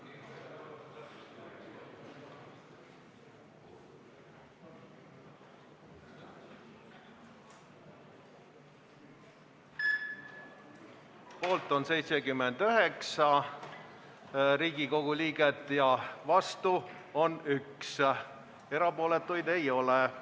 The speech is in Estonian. Hääletustulemused Poolt on 79 Riigikogu liiget ja vastu on 1, erapooletuid ei ole.